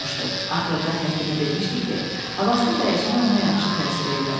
Axırda həkimi demişdi ki, havasını dəyişmək ona yaxşı təsir eləyər.